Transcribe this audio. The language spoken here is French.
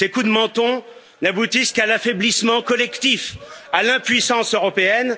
Ces coups de menton n'aboutissent qu'à l'affaiblissement collectif, à l'impuissance européenne.